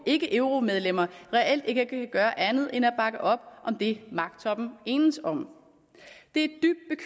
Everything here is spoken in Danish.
ikke euromedlemmer reelt ikke kan gøre andet end at bakke op om det magttoppen enes om det